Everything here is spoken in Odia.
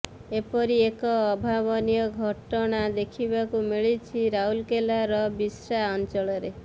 ଏପରି ଏକ ଅଭାବନୀୟ ଘଟଣା ଦେଖିବାକୁ ମିଳିଛି ରାଉରକେଲାର ବିଶ୍ରା ଅଂଚଳରେ